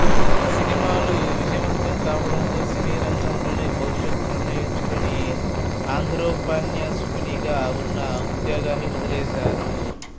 సినిమాలు విజయవంతం కావడంతో సినీరంగంలోనే భవిష్యత్తు నిర్ణయించుకుని ఆంధ్రోపన్యాసకునిగా వున్న ఉద్యోగాన్ని వదిలేశారు